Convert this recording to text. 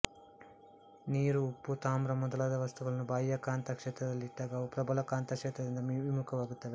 ನೀರು ಉಪ್ಪು ತಾಮ್ರ ಮೊದಲಾದ ವಸ್ತುಗಳನ್ನು ಬಾಹ್ಯ ಕಾಂತ ಕ್ಷೇತ್ರದಲ್ಲಿಟ್ಟಾಗ ಅವು ಪ್ರಬಲ ಕಾಂತಕ್ಷೇತ್ರದಿಂದ ವಿಮುಖವಾಗುತ್ತವೆ